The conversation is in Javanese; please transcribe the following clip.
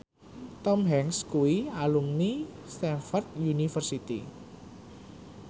Tom Hanks kuwi alumni Stamford University